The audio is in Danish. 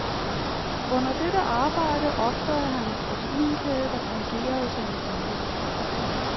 Under dette arbejde opdagede han en proteinkæde, der fungerede som en pumpe.